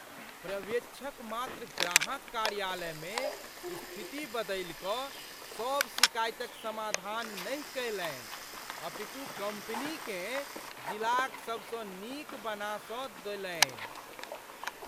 पर्यवेक्षक मात्र ग्राहक कार्यालय मे स्थिति बदलि क सभ शिकायतक समाधान नहि कयलनि अपितु कंपनीकेँ जिलाक सबसँ नीक बना स देलनि।